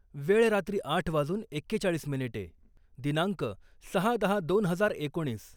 वेळ रात्री आठ वाजून एक्केचाळीस मिनिटे दिनांक सहा दहा दोन हजार एकोणीस